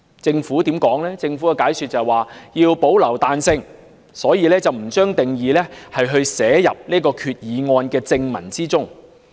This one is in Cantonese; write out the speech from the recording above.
政府解釋，為保留彈性，因此不將定義納入擬議決議案的正文中。